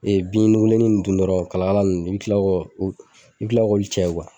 bin nugulen in dun dɔrɔn kala kala ninnu i bɛ kila kɔ i bɛ kila k'olu cɛ